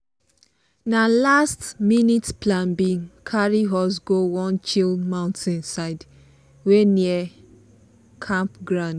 na last-minute plan bin carry us go one chill mountain side wey near campground.